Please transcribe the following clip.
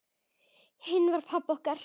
Hinn var pabbi okkar.